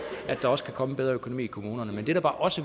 at der også kan komme en bedre økonomi i kommunerne men det der bare også